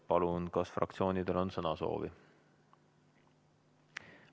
Palun, kas fraktsioonidel on sõnasoovi?